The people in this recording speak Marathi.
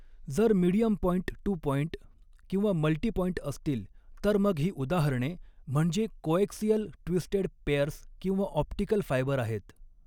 जर मिडीयम पॉइंट टू पॉइंट किंवा मल्टी पॉइंट असतील तर मग ही उदाहरणे म्हणजे कोएक्सीअल ट्विस्टेड पेयर्स किंवा ऑप्टिकल फायबर आहेत.